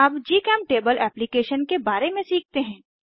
अब GChemTable application के बारे में सीखते हैं